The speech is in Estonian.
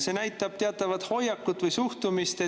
See näitab teatavat hoiakut või suhtumist,